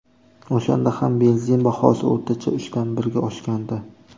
O‘shanda ham benzin bahosi o‘rtacha uchdan birga oshgandi.